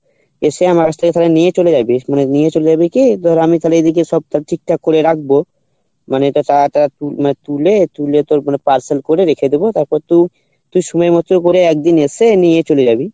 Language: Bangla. এসে আমার কাছ তালে নিয়ে চলে যাবি নিয়ে চলে যাবি কী ধর আমি তালে এদিকে সব তালে ঠিকঠাক করে রাখবো তুলে তোর মানে parcel করে রেখে দেবো তারপর তু তু সময় মতো করে একদিন এসে নিয়ে চলে যাবি